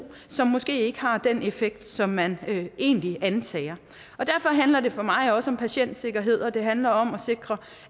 som måske ikke har den effekt som man egentlig antager derfor handler det for mig også om patientsikkerhed og det handler om at sikre